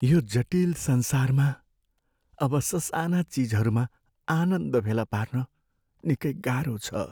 यो जटिल संसारमा अब ससाना चिजहरूमा आनन्द फेला पार्न निकै गाह्रो छ।